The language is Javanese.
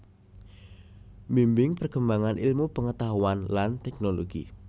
Mbimbing perkembangan ilmu pengetahuan lan teknologi